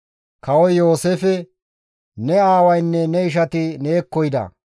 Kawoy Yooseefe, «Ne aawaynne ne ishati neekko yida.